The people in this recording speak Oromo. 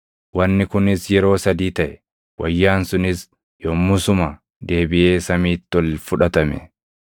Wanni kunis yeroo sadii taʼe; wayyaan sunis yommusuma deebiʼee samiitti ol fudhatame.